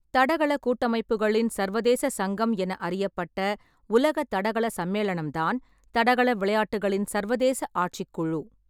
தடகள கூட்டமைப்புகளின் சர்வதேச சங்கம் என அறியப்பட்ட உலக தடகள சம்மேளனம் தான் தடகள விளையாட்டுகளின் சர்வதேச ஆட்சிக் குழு.